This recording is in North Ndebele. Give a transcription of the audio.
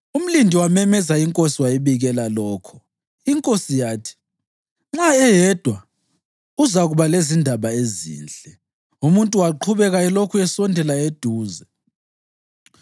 Umlindi wamemeza inkosi wayibikela lokho. Inkosi yathi, “Nxa eyedwa, uzakuba lezindaba ezinhle.” Umuntu waqhubeka elokhu esondela eduze.